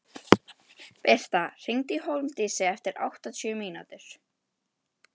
Birta, hringdu í Hólmdísi eftir áttatíu mínútur.